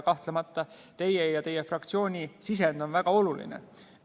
Kahtlemata on teie ja teie fraktsiooni sisend väga oluline.